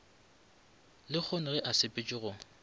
lehono ge a sepetše go